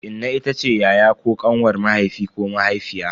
Inna itace yaya ko kanwar mahaifi ko mahaifiya.